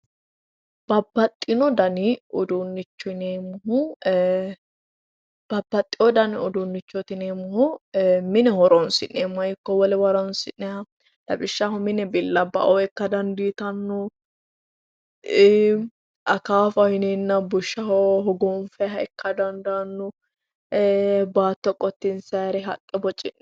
babbaxino dani uduunnicho yineemmohu eee babbaxewo dani uduunnichooti yineemmohu mine horoonsi'neemmoha ikko wolewa horoonsi'nayha lawishshaho mine billabbaoo ikka dandiitanno akaafaho yineenna bushsha hogoogfayiha ikka dandaanno baatto loonsayre haqqe boci'nay